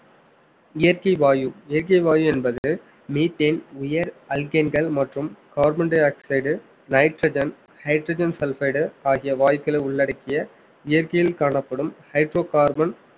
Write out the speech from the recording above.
இயற்கை வாயு இயற்கை வாயு என்பது methane உயர் அல்கேன்கள் மற்றும் carbon dioxide nitrogen hydrogen sulphate ஆகிய வாயுக்களை உள்ளடக்கிய இயற்கையில் காணப்படும் hydrocarbon